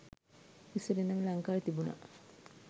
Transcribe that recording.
ඉස්සර ඉදලම ලංකාවෙ තිබුණ